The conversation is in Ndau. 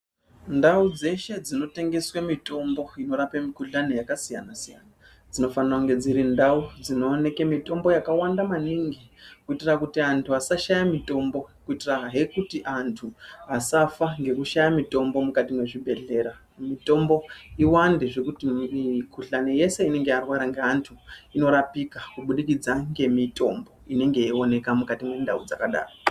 Ndau dzeshe dzinotengeswe mitombo inorape mikuhlani yakasiyana-siyana, dzinofanira kunge dziri ndau dzinooneke mitombo yakawanda maningi kuitira kuti antu asashaya mitombo, Kuitirahe kuti antu asafa ngekushaya mitombo mukati mwezvibhedhlera. Mitombo iwande zvekuti mikuhlani yese inenge yarwara ngeantu, inorapika kubudikidza ngemitombo inenge yeioneka mukati mendau dzakadaro.